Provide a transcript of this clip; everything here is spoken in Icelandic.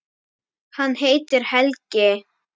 Hann heitir Helgi.